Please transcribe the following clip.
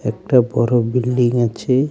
একটা বড় বিল্ডিং আছে.